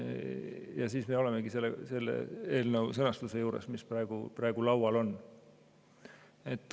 Ja nii me olemegi eelnõu selle sõnastuse juures, mis praegu laual on.